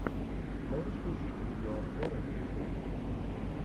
можешь включить видеообзоры ютуб